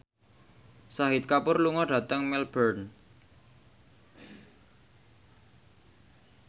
Shahid Kapoor lunga dhateng Melbourne